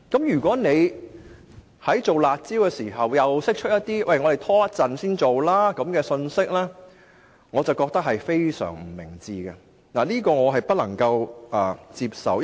如果在推出"辣招"之際發出可以稍後才做的信息，我認為是非常不明智的，亦不能夠接受。